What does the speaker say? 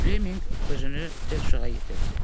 Fleminq özünü tez uşağa yetirdi.